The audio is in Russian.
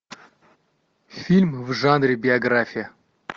фильм в жанре биография